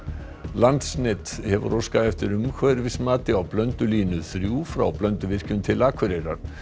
landsnet hefur óskað eftir umhverfismati á Blöndulínu þrír frá Blönduvirkjun til Akureyrar